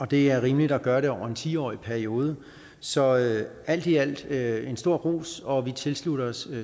det er rimeligt at gøre det over en ti årig periode så alt i alt med en stor ros og vi tilslutter os